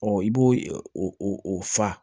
i b'o o fa